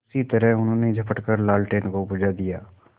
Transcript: उसी तरह उन्होंने झपट कर लालटेन को बुझा दिया